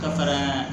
Ka fara